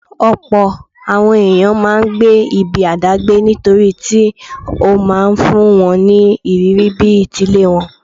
Ọ̀pọ̀ àwọn ẹ̀yàn máa ńgbé ibi àdágbé nítorítí ó máa ńfún wọn ní ìrírí bí ti ilé wọn.